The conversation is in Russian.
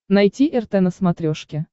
найти рт на смотрешке